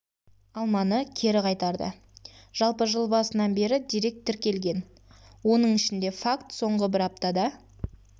алманы кері қайтарды жалпы жыл басынан бері дерек тіркелген оның ішінде факт соңғы бір аптада